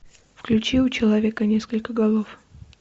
включи у человека несколько голов